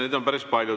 Neid on päris palju.